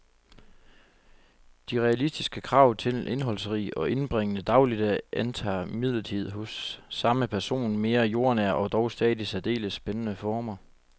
De realistiske krav til en indholdsrig og indbringende dagligdag antager imidlertid hos samme person mere jordnære og dog stadig særdeles spændende former.